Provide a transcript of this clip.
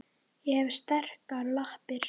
Ég hef sterkar lappir.